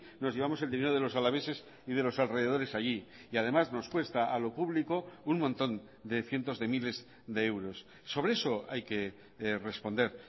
nos llevamos el dinero de los alaveses y de los alrededores allí y además nos cuesta a lo público un montón de cientos de miles de euros sobre eso hay que responder